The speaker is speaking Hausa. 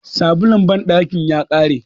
sabulun bandaki ya kare